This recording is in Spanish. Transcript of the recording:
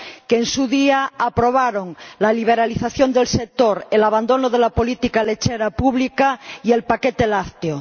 que, en su día, aprobaron la liberalización del sector, el abandono de la política lechera pública y el paquete lácteo.